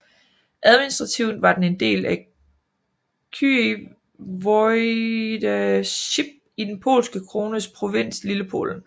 Administrativt var den en del af Kyiv Voivodeship i Den polske krones provins Lillepolen